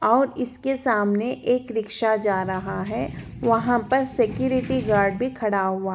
और इसके सामने एक रिक्शा जा रहा है वहाँ पर सेकुरिटी गार्ड भी खड़ा हुआ--